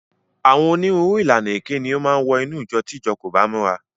Àwọn onírúurú ìlànà èké ni ó máa wọ inú ìjọ tí ìjọ kò bá múra.